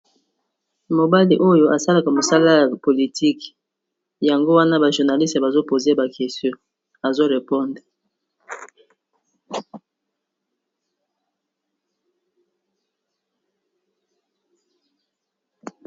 Mobali oyo asalaka mosala ya politique, yango wana ba journaliste bazo poze ye ba question azo reponde.